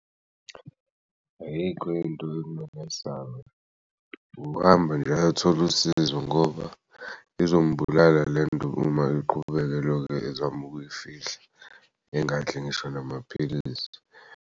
Ayikho into ekumele ayesabe ukuhamba nje ayothola usizo ngoba izombulala lento uma iqhubeke elokh'ezam'ukuyifihla engadli ngisho namaphilisi.